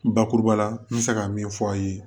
Bakuruba la n bɛ se ka min f'a ye